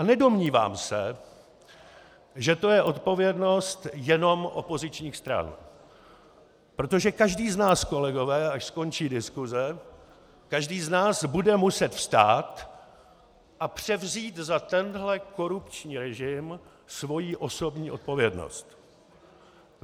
A nedomnívám se, že to je odpovědnost jenom opozičních stran, protože každý z nás, kolegové, až skončí diskuse, každý z nás bude muset vstát a převzít za tento korupční režim svou osobní odpovědnost.